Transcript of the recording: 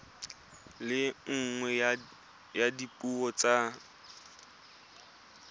le nngwe ya dipuo tsa